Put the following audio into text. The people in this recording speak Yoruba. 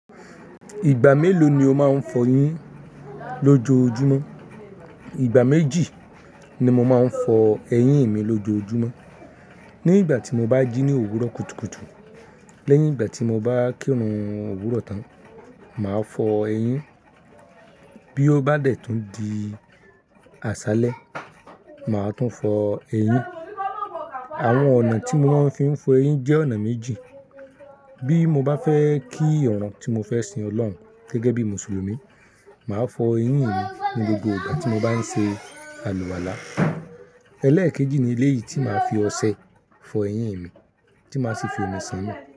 Ìgbà mélòó ni o máa ń fọ eyín lọ́jọ́ojúmọ́? Ìgbà méjì ni mo máa ń fọ ẹyín mi lójoojúmọ́. Ní ìgbà tí mo bá jí ní òwúrọ̀ kùtùkùtù lẹ́yìn ìgbà tí mo bá kírun òwúrọ̀ tán, màá fọ eyín. Bí ó bá dẹ̀ tún di àṣálẹ́, màá tún fọ eyín. Àwọn ọ̀nà tí mo máa ń fi ń fọ eyín jẹ́ ọ̀nà méjì. Bí mo bá fẹ́ kí irun tí mo fẹ́ sin Ọlọ́run gẹ́gẹ́ bí Mùsùlùmí, màá fọ eyín mi ní gbogbo ìgbà tí mo bá ń ṣe àlùwàlá. Ẹlẹ́ẹ̀kejì ni eléyìí tí màá fi ọṣẹ fọ eyín mi tí màá sì fi omi san nu.